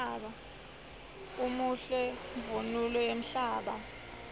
umuhle mvunulo yemhlaba